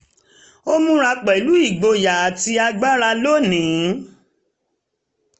ó múra pẹ̀lú igboyà àti agbára lónìí